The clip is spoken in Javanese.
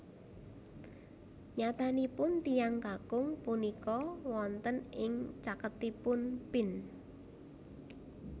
Nyatanipun tiyang kakung punika wonten ing caketipun Pin